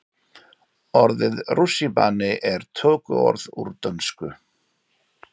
Orðið rússíbani er tökuorð úr dönsku.